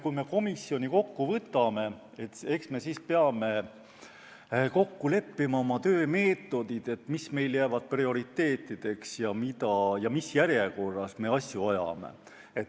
Kui me komisjoni kokku võtame, eks me pea siis kokku leppima oma töömeetodid, selle, mis meil jäävad prioriteetideks ja mis järjekorras me asju ajame.